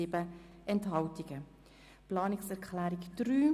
Sie haben die Planungserklärung 6 angenommen.